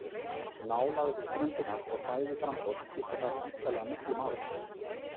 Nálægð við ströndina og fæðuframboð skipta þar væntanlega miklu máli.